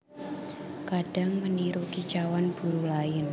Kadang meniru kicauan burung lain